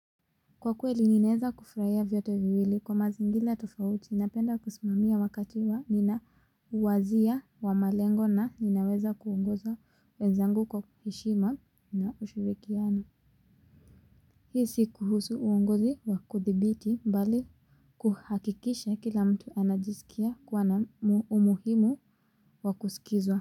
Kwa kweli ninaeza kufurahia vyote viwili kwa mazingira tofauti napenda kusimamia wakati wa ninauwazia wa malengo na ninaweza kuongoza wenzangu kwa heshima na ushirikiano. Hii si kuhusu uongozi wa kuthibiti mbali kuhakikisha kila mtu anajisikia kuwa na umuhimu wa kusikizwa.